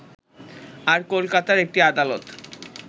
আর কলকাতার একটি আদালত